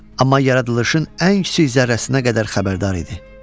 Amma yaradılışın ən kiçik zərrəsinə qədər xəbərdar idi.